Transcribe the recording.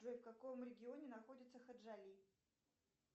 джой в каком регионе находится хаджали